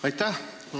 Aitäh!